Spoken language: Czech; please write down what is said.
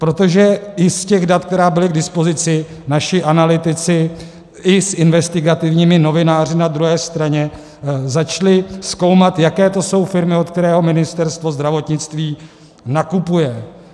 Protože i z těch dat, která byla k dispozici, naši analytici i s investigativními novináři na druhé straně začali zkoumat, jaké to jsou firmy, od kterých Ministerstvo zdravotnictví nakupuje.